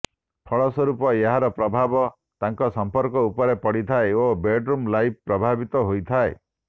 ଫଳସ୍ୱରୂପ ଏହାର ପ୍ରଭାବ ତାଙ୍କ ସମ୍ପର୍କ ଉପର ପଡ଼ିଥାଏ ଓ ବେଡ୍ରୁମ୍ ଲାଇଫ୍ ପ୍ରଭାବିତ ହୋଇଥାଏ